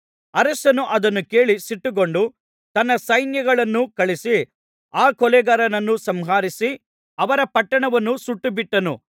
ಅರಸನು ಅದನ್ನು ಕೇಳಿ ಸಿಟ್ಟುಗೊಂಡು ತನ್ನ ಸೈನ್ಯಗಳನ್ನು ಕಳುಹಿಸಿ ಆ ಕೊಲೆಗಾರರನ್ನು ಸಂಹರಿಸಿ ಅವರ ಪಟ್ಟಣವನ್ನು ಸುಟ್ಟುಬಿಟ್ಟನು